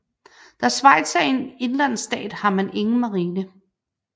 Da Schweiz er en indlandsstat har man ingen marine